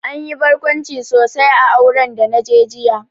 Anyi barkwanci sosai a auren da naje jiya